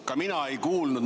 Ka mina ei kuulnud ...